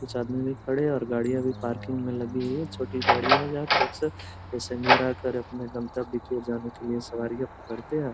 कुछ आदमी भी खड़े और गाड़ियाँ भी खड़ी पार्किंग में लगी छोटी गाड़ियाँ जहाँ पे पैसेंजर आकर अपने गन्तब्य तक जाने के लिए सवारीयाँ पकड़ते हैं |